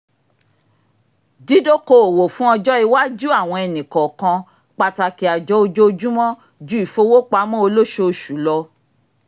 dídókoòwò fún ọjọ́ iwájú àwọn ẹnì kọ̀ọ̀kan pàtàkì àjọ ojoojúmọ́ ju ìfowópamọ́ olóṣooṣù lọ